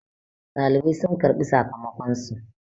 dalibai sun karɓi sakamakonsu